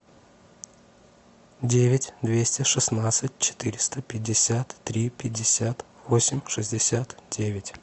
девять двести шестнадцать четыреста пятьдесят три пятьдесят восемь шестьдесят девять